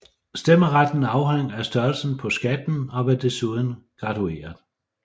Stemmeretten afhang af størrelsen på skatten og var desuden gradueret